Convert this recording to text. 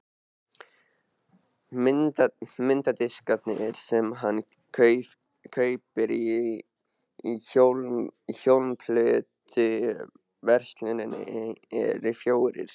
Mynddiskarnir sem hann kaupir í hljómplötuversluninni eru fjórir.